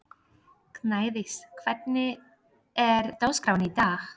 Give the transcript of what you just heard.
Gnádís, hvernig er dagskráin í dag?